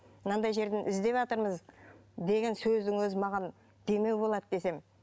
мынандай жерден іздеватырмыз деген сөздің өзі маған демеу болады десем